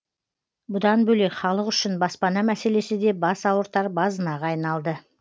бұдан бөлек халық үшін баспана мәселесі де бас ауыртар базынаға айналды